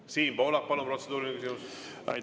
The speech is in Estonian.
Siim Pohlak, palun, protseduuriline küsimus!